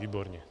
Výborně.